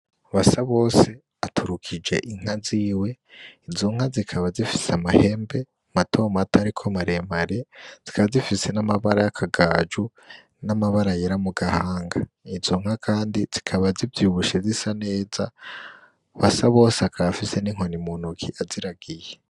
BASABOSE aturukije Inka ziwe, izo nka zikaba zifise amahembe mato mato ariko maremare zikaba zifise n'amabara yakagaju n'amabara yera mugahanga, izo nka kandi zikaba zivyibushe zisa neza. BASABOSE akaba afise n'inkoni mu ntoke aziragiye.